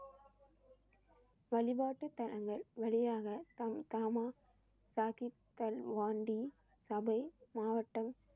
வழிபாட்டுத்தலங்கள் வழியாக மாவட்டம்